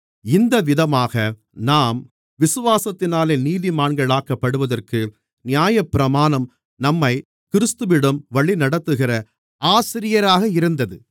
இந்தவிதமாக நாம் விசுவாசத்தினாலே நீதிமான்களாக்கப்படுவதற்கு நியாயப்பிரமாணம் நம்மைக் கிறிஸ்துவிடம் வழிநடத்துகிற ஆசிரியராக இருந்தது